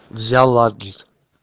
взял адрес